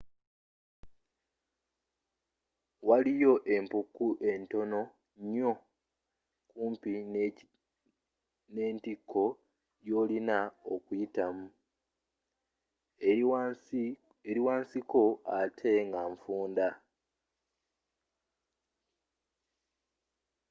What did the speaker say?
waliyo empuku entono nyo kumpi n'entikko gyolina okuyitamu eri wansi ko atte nga nfunda